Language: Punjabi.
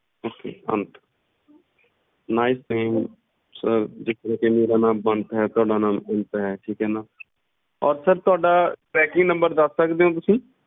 okaynicename ਅੰਤ ਮੇਰਾ ਨਾਮ ਬੰਤ ਹੈ ਤੇ ਤੁਹਾਡਾ ਨਾਮ ਅੰਤ ਹੈ ਠੀਕ ਏ ਨਾ ਔਰ ਤੁਹਾਡਾ packingnumber ਦੱਸ ਸਕਦੇ ਊ ਤੁਸੀਂ